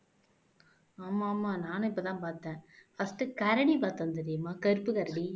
ஆமா ஆமா நானும் இப்பதான் பார்த்தேன் first கரடி பார்த்தேன் தெரியுமா கருப்பு கரடி